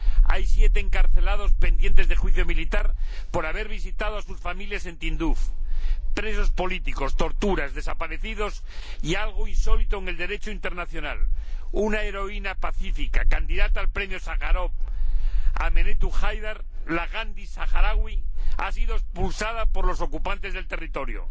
Hay siete encarcelados pendientes de juicio militar por haber visitado a sus familias en Tinduf, hay presos políticos, torturas, desaparecidos y algo insólito en el Derecho internacional una heroína pacífica, candidata al Premio Sájarov, Aminatou Haidar, la Gandhi saharaui, ha sido expulsada por los ocupantes del territorio.